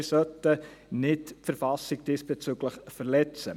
Wir sollten diesbezüglich die Verfassung nicht verletzen.